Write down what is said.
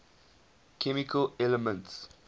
chemical elements